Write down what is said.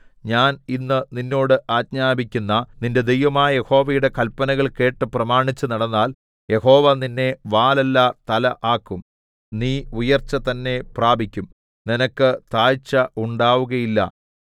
ഞാൻ ഇന്ന് നിന്നോട് ആജ്ഞാപിക്കുന്ന നിന്റെ ദൈവമായ യഹോവയുടെ കല്പനകൾ കേട്ടു പ്രമാണിച്ചു നടന്നാൽ യഹോവ നിന്നെ വാലല്ല തല ആക്കും നീ ഉയർച്ച തന്നെ പ്രാപിക്കും നിനക്ക് താഴ്ച ഉണ്ടാകുകയില്ല